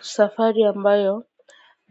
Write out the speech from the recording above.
Safari ambayo